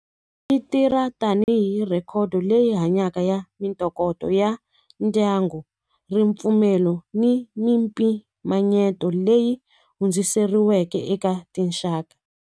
Yi tirha tanihi record leyi hanyaka ya mintokoto ya ndyangu ripfumelo ni mimpimanyeto leyi hundziseriweke eka tinxaka.